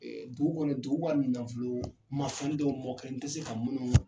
Ee dugu kɔni dugu ka nanfolo ma falen dɔw mɔ ka n te se ka munnu